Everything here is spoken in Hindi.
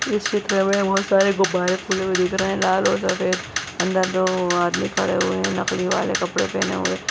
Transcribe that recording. इस चित्र मे बहुत सारे गुब्बारे फुले हुए दिख रहे है लाल और सफेद अंदर दो आदमी खड़े हुए है नकली वाले कपड़े पहने हुए --